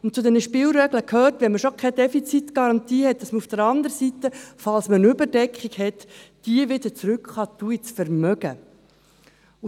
Zu diesen Spielregeln gehört, dass wenn man keine Defizitgarantie hat, man auf der anderen Seite eine Überdeckung zurück ins Vermögen geben kann.